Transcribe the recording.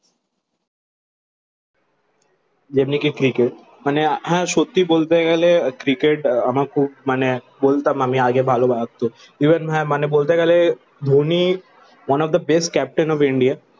যেমনি কি ক্রিকেট মানে হ্যাঁ সত্যি বলতে গেলে ক্রিকেট আমার খুব মানে বলতাম আমি আগে ভালোবাসতো। ইভেন হ্যাঁ মানে বলতে গেলে Dhoni One of the best captain of India.